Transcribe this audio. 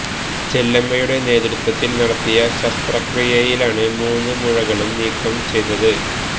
ചെല്ലമ്മയുടെ നേതൃത്വത്തില് നടത്തിയ ശസ്ത്രക്രിയയിലാണ് മൂന്നു മുഴകളും നീക്കം ചെയ്തത്